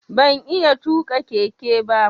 Ban iya tuƙa keke ba.